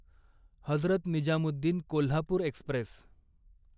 Hazrat Nizamuddin Kolhapur Express